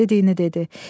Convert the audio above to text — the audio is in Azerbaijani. Dediyini dedi.